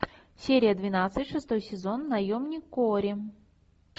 серия двенадцать шестой сезон наемник куорри